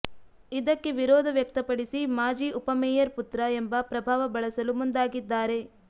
ಇದಕ್ಕೆ ವಿರೋಧ ವ್ಯಕ್ತಪಡಿಸಿ ಮಾಜಿ ಉಪಮೇಯರ್ ಪುತ್ರ ಎಂಬ ಪ್ರಭಾವ ಬಳಸಲು ಮುಂದಾಗಿದ್ದಾರೆ